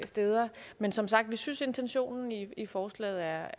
steder men som sagt synes intentionen i forslaget